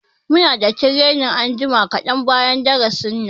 Muna da training anjima kaɗan bayan darasin nan.